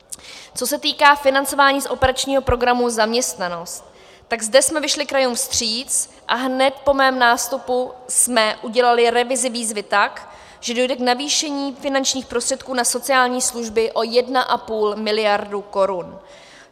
Co se týká financování z operačního programu Zaměstnanost, tak zde jsme vyšli krajům vstříc a hned po mém nástupu jsme udělali revizi výzvy tak, že dojde k navýšení finančních prostředků na sociální služby o 1,5 miliardy korun.